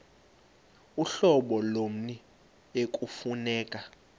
uhlobo lommi ekufuneka